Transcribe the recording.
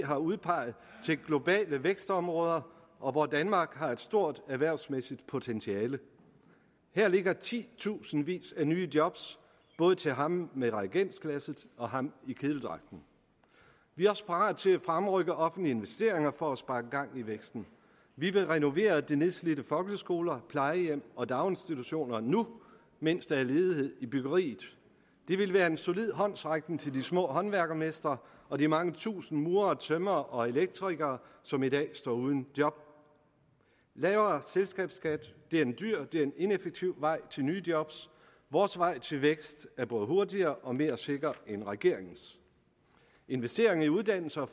har udpeget til globale vækstområder og hvor danmark har et stort erhvervsmæssigt potentiale her ligger titusindvis af nye job både til ham med reagensglasset og ham i kedeldragten vi er også parate til at fremrykke offentlige investeringer for at sparke gang i væksten vi vil renovere de nedslidte folkeskoler plejehjem og daginstitutioner nu mens der er ledighed i byggeriet det ville være en solid håndsrækning til de små håndværkermestre og de mange tusinde murere tømrere og elektrikere som i dag står uden job lavere selskabsskat er en dyr en ineffektiv vej til nye job vores vej til vækst er både hurtigere og mere sikker end regeringens investeringer i uddannelse og